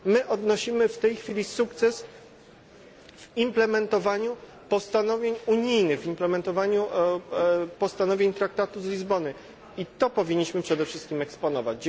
My odnosimy w tej chwili sukces w implementowaniu postanowień unijnych, w implementowaniu postanowień traktatu z Lizbony i to powinniśmy przede wszystkim eksponować.